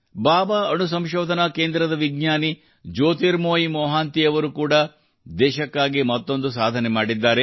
ಬಾಬಾ ಅಣು ಸಂಶೋಧನಾ ಕೇಂದ್ರದ ವಿಜ್ಞಾನಿ ಜ್ಯೋತಿರ್ಮಯಿ ಮೊಹಾಂತಿ ಅವರು ಕೂಡಾ ದೇಶಕ್ಕಾಗಿ ಮತ್ತೊಂದು ಸಾಧನೆ ಮಾಡಿದ್ದಾರೆ